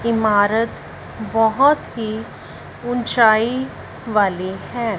इमारत बहोत ही ऊंचाई वाली है।